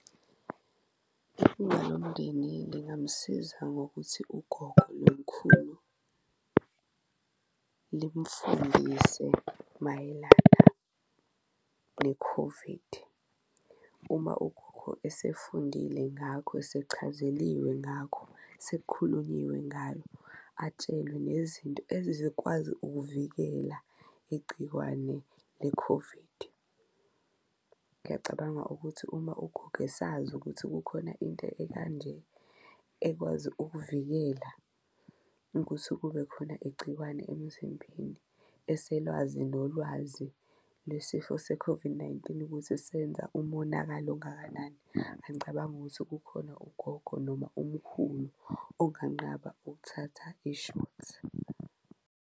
Ilunga lomndeni lingamsiza ngokuthi ugogo nomkhulu limfundise mayelana ne-COVID. Uma ugogo esefundile ngakho, esechazeliwe ngakho, sekukhulunyiwe ngayo, atshelwe nezinto ezizokwazi ukuvikela igciwane le-COVID. Ngiyacabanga ukuthi uma ugogo esazi ukuthi kukhona into ekanje ekwazi ukuvikela ukuthi kube khona igciwane emzimbeni, eselwazi nolwazi le sifo se-COVID-19 ukuthi senza umonakalo ungakanani. Angicabangi ukuthi kukhona ugogo noma umkhulu onganqaba ukuthatha ishothi.